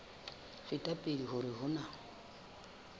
feta pele hore ho na